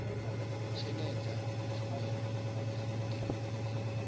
netshedza tshumelo ya vhufhinduleli na